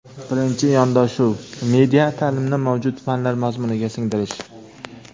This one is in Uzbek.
Birinchi yondashuv – media taʼlimni mavjud fanlar mazmuniga singdirish.